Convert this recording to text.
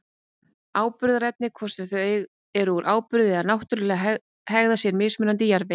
Áburðarefnin, hvort sem þau eru úr áburði eða náttúruleg, hegða sér mismunandi í jarðvegi.